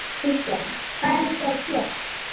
Kristjana: Hvað eruð þið að gera?